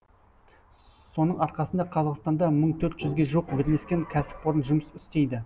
соның арқасында қазақстанда мың төрт жүзге жуық бірлескен кәсіпорын жұмыс істейді